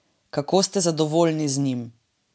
Kako ste zadovoljni z njim?